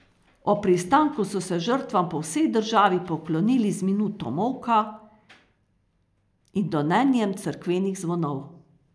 Ob pristanku so se žrtvam po vsej državi poklonili z minuto molka in donenjem cerkvenih zvonov.